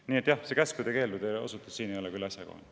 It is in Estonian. Nii et see käskude-keeldude osutus ei olnud küll asjakohane.